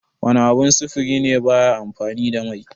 Wana abun sufuri ne baya amfani da mai?